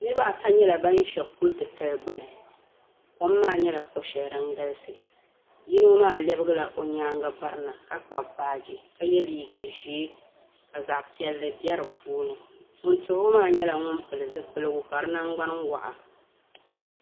Niriba ata nyɛla ban ʒe kul' titali gbuni kom maa nyɛla ko' shɛli din galisi yino maa lɛbigila o nyaaŋa m-birina ka kpabi baaji ka ye liiga ʒee ka zaɣ' piɛlli be di puuni ŋun tuhi o maa nyɛla ŋun pili zipiligu ka di naŋgbani waɣa